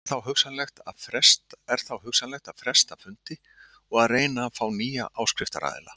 Er þá hugsanlegt að fresta fundi og að reyna að fá nýja áskriftaraðila.